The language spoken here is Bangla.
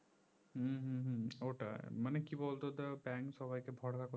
হম হম হম মানে কি বলতো ধর bank সবাইকে ভরসা